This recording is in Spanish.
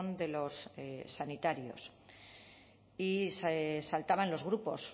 de los sanitarios y se saltaban los grupos